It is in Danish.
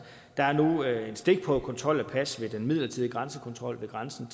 er nu en stikprøvekontrol af pas ved den midlertidige grænsekontrol ved grænsen